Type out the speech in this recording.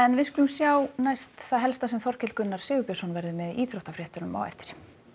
við skulum sjá næst það helsta sem Þorkell Gunnar Sigurbjörnsson verður með í íþróttafréttum á eftir